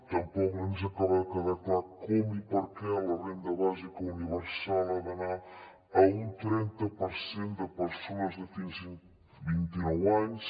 tampoc ens acaba de quedar clar com i per què la renda bàsica universal ha d’anar a un trenta per cent de persones de fins a vint i nou anys